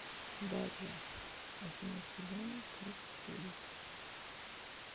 дарья восьмой сезон часть девять